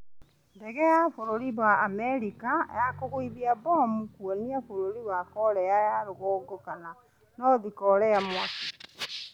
Ndege ya bũrũri wa America ya kũgũithia mbomu kwonia bũrũri wa korea ya rũgongo kana North korea mwaki